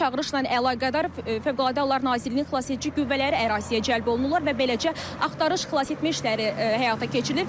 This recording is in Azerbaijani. Çağırışla əlaqədar Fövqəladə Hallar Nazirliyinin xilasedici qüvvələri əraziyə cəlb olunurlar və beləcə axtarış xilasetmə işləri həyata keçirilir.